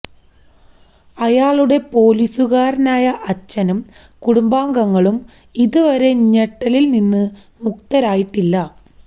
അയാളുടെ പോലീസുകാരനായ അച്ഛനും കുടുംബാംഗങ്ങളും ഇതുവരെ ഞെട്ടലില് നിന്ന് മുക്തരായിട്ടില്ല